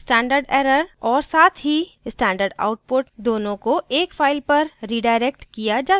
stderr और साथ ही stdout दोनोें को एक file पर redirect किया जा सकता हैं